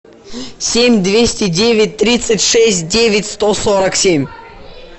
семь двести девять тридцать шесть девять сто сорок семь